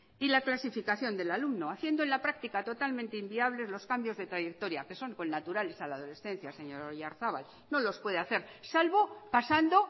y la clasificación del alumno haciendo en la práctica totalmente inviables los cambios de trayectoria que son connaturales a la adolescencia señor oyarzabal no los puede hacer salvo pasando